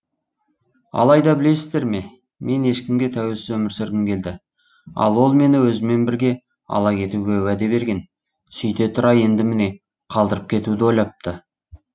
алайда білесіздер ме мен ешкімге тәуелсіз өмір сүргім келді ал ол мені өзімен бірге ала кетуге уәде берген сөйте тұра енді міне қалдырып кетуді ойлапты